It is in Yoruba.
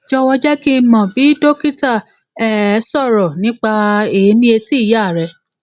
jọwọ jẹ kí n mọ bí dókítà um sọrọ nípa èèmí etí ìyá rẹ